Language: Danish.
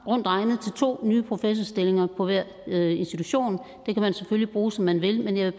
rundt regnet to nye professorstillinger på hver institution dem kan man selvfølgelig bruge som man vil men jeg